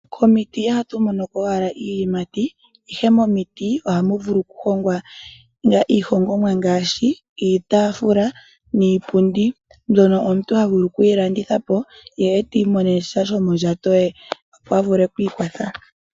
Komiti ihatu monoko owala iiyimati, ihe momiti, ohamu vulu okuhongwa iihongomwa ngaashi, iitaafula niipundi, mbyono omuntu ha vulu okuyi landithapo, iimonene sha shomondjato, opo a vule okwiikwatha.